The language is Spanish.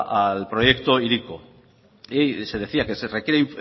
al proyecto hiriko y se decía que se requiere